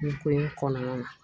Nin ko in kɔnɔna na